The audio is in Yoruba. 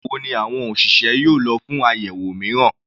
Nígbà wo ni àwọn òṣìṣẹ́ yóò lọ fún àyẹ̀wò mìíràn?